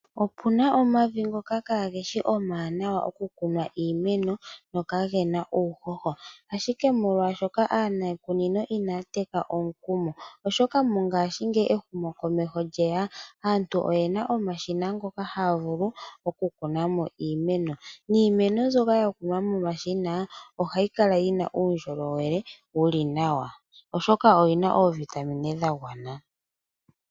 Opuna omavi ngoka kageshi omawanawa oku kunwa iimeno no kaagena uuhoho, ashike molwaashoka aanikunino inaya teka omukumo oshoka mongashingeyi ehumokomeho lyeya, aantu oyena omashina ngoka haya vulu oku kunamo iimeno, niimeno mbyoka ya kunwa momashina ohayi kala yina uundjolowele wuli nawa, oshoka oyina oovitamine dha gwana.